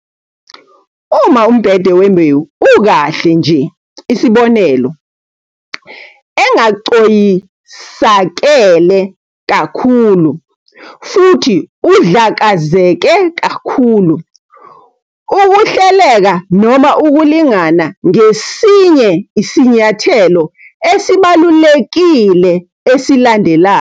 Uma umbhede wembewu ukahle nje isibonelo- engacoyisakele kakhulu futhi udlakazeke kakhulu, ukuhleleka noma ukulingana ngesinye isinyathelo esibalulekile esilandelayo.